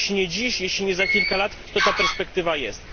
Choć nie dziś, choć nie za kilka lat, to ta perspektywa jest.